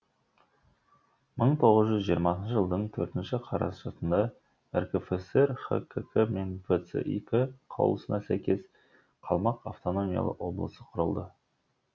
мың тоғыз жүз жиырмасыншы жылдың төртінші қарашасында ркфср хкк мен вцик қаулысына сәйкес қалмақ автономиялы облысы құрылды